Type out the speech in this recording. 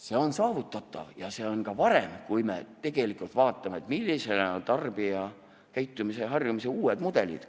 See on saavutatav ja see on ka varem võimalik, kui me vaatame, millised on tarbijakäitumise ja -harjumuste uued mudelid.